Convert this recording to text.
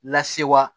Lasewa